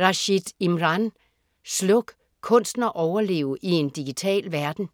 Rashid, Imran: Sluk: kunsten at overleve i en digital verden